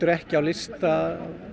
ekki á lista